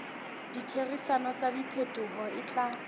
ditherisano tsa diphetoho e tla